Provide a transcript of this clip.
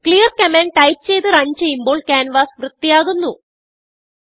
clear command type ചെയ്ത് run ചെയ്യുമ്പോൾ canvas വൃത്തിയാകുന്നു